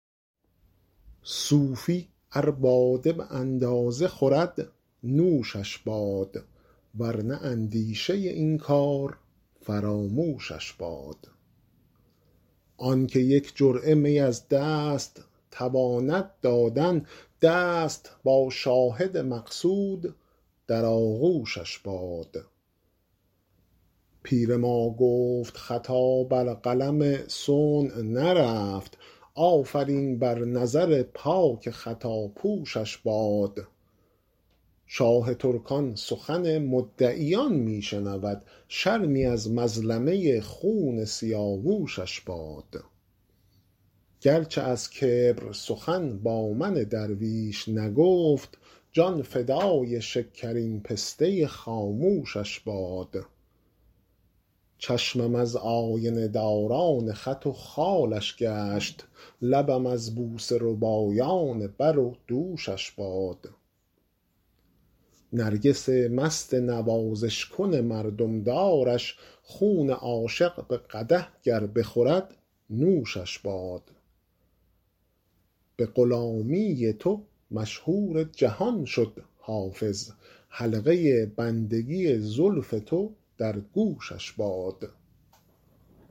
صوفی ار باده به اندازه خورد نوشش باد ور نه اندیشه این کار فراموشش باد آن که یک جرعه می از دست تواند دادن دست با شاهد مقصود در آغوشش باد پیر ما گفت خطا بر قلم صنع نرفت آفرین بر نظر پاک خطاپوشش باد شاه ترکان سخن مدعیان می شنود شرمی از مظلمه خون سیاوشش باد گر چه از کبر سخن با من درویش نگفت جان فدای شکرین پسته خاموشش باد چشمم از آینه داران خط و خالش گشت لبم از بوسه ربایان بر و دوشش باد نرگس مست نوازش کن مردم دارش خون عاشق به قدح گر بخورد نوشش باد به غلامی تو مشهور جهان شد حافظ حلقه بندگی زلف تو در گوشش باد